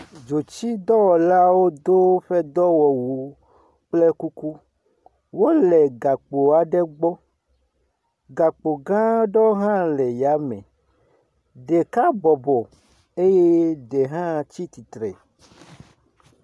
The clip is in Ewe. Dzotsidɔwɔlawo do woƒe dɔɔwɔwu kple kuku, wole gakpo aɖe gbɔ, gakpo gã aɖewo hã le yame, ɖeka bɔbɔ eye ɖe hã tsi tsitre